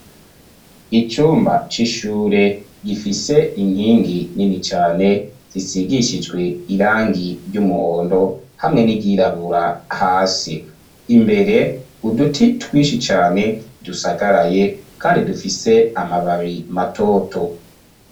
Icumba c'ishure gifise inkingi nini cane zisigishijwe irangi ry'umuhondo hamwe n'iryirabura hasi imbere uduti twishi cane dusagaraye kandi dufise amababi matoto.